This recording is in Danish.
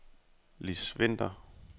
Liss Vinter